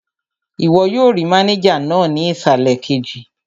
Ìwọ yóò rí mánéjà náà ní ìsàlẹ̀ kejì